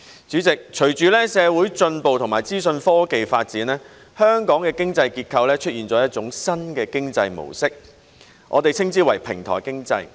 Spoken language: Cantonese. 主席，隨着社會進步和資訊科技發展，香港的經濟結構出現了一種新的經濟模式，我們稱之為平台經濟。